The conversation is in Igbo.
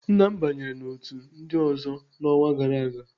Nna m banyere n'otu ndị ọzọ n'ọnwa gara aga.